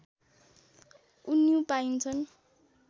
उन्यु पाइन्छ्न्